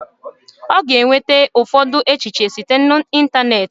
Ọ ga-enweta ụfọdụ echiche site na ịntanetị